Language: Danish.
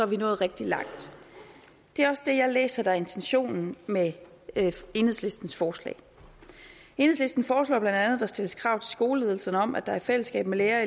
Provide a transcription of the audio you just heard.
vi nået rigtig langt det er også det jeg læser er intentionen med enhedslistens forslag enhedslisten foreslår bla at der stilles krav til skoleledelserne om at der i fællesskab med lærere